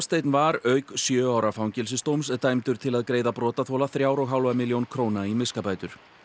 var auk sjö ára fangelsisdóms dæmdur til að greiða brotaþola þrjár og hálfa milljón króna í miskabætur